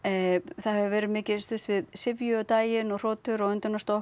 það hefur verið mikið stuðst við syfju á daginn og hrotur og